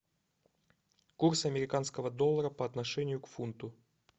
курс американского доллара по отношению к фунту